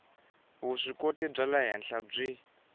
vuswikoti bya le henhla byi